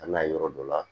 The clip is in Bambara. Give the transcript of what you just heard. A n'a ye yɔrɔ dɔ la